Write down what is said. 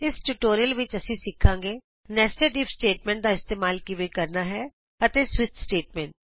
ਇਸ ਟਯੂਟੋਰੀਅਲ ਵਿਚ ਅਸੀਂ ਸਿਖਾਂਗੇ ਨੈਸਟਡ ਇਫ ਸਟੇਟਮਟ ਦਾ ਇਸਤੇਮਾਲ ਕਿਵੇਂ ਕਰਨਾ ਹੈ ਅਤੇ ਸਵਿਚ ਸਟੇਟਮੈਂਟ